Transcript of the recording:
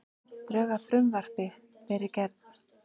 Drög að frumvarpi verið gerð